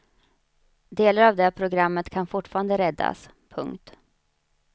Delar av det programmet kan fortfarande räddas. punkt